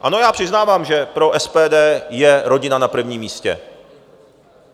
Ano, já přiznávám, že pro SPD je rodina na prvním místě.